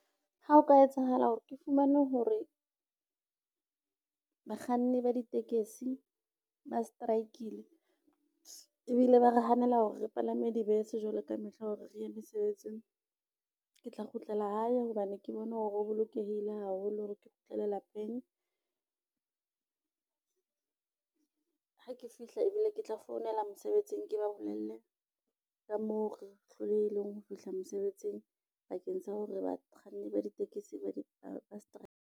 Ha ho ka etsahala hore ke fumane hore, bakganni ba ditekesi ba strike-ile ebile ba re hanela hore re palame dibese jwalo ka mehla hore re ye mesebetsing. Ke tla kgutlela hae hobane ke bone hore o bolokehile haholo hore ke kgutlele lapeng, ha ke fihla ebile ke tla founela mosebetsing, ke ba bolelle ka moo re hlolehileng ho fihla mosebetsing bakeng sa hore bakganni ba ditekesi ba di strike.